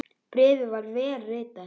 Bréfið var vel ritað.